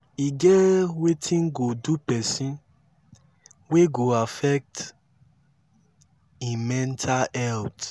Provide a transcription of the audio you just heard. e get wetin go do person wey go affect im menta health